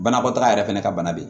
Banakɔtaga yɛrɛ fɛnɛ ka bana be yen